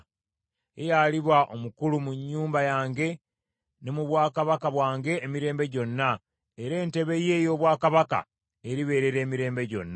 Ye y’aliba omukulu mu nnyumba yange ne mu bwakabaka bwange emirembe gyonna, era entebe ye ey’obwakabaka eribeerera emirembe gyonna.’ ”